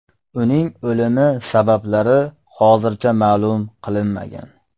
Uning o‘limi sabablari hozircha ma’lum qilinmagan.